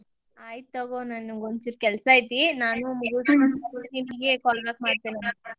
ಆಯಿತ ತಗೋ ನನಗ್ ಒಂದ್ ಚೂರ್ ಕೆಲ್ಸಾ ಐತಿ ನಾನ್ call back ಮಾಡ್ತೀನಿ.